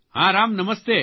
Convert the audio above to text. હા રામ નમસ્તે